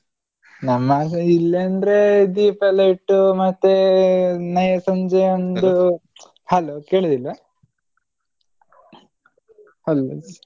ನಮ್ಮಾಚೆ ಇಲ್ಲಂದ್ರೆ ದೀಪ ಎಲ್ಲ ಇಟ್ಟು ಮತ್ತೇ ನಯ ಸಂಜೆ ಒಂದು hello ಕೇಳುದಿಲ್ವಾ hello ?